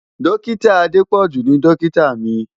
Dọ́kítà Adépọ̀jù ni dọ́kítà mi.